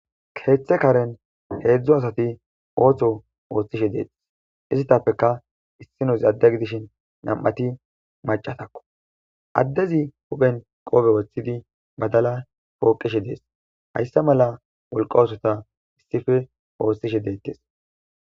Keta karen hedzu asati oso othishe detes itapeka isinozi ade gidishin nam'ati macatako daezi huphen qofe wothidi bdala poqishe des hasa mala wolqa osota isispe othishe detes